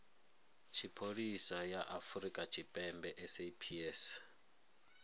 tshipholisa ya afrika tshipembe saps